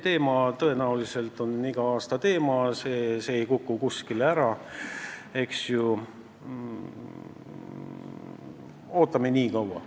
See on tõenäoliselt iga aasta teema, see ei kuku kuskile ära, aga ootame nii kaua.